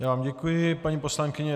Já vám děkuji, paní poslankyně.